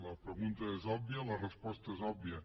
la pregunta és òbvia la resposta és òbvia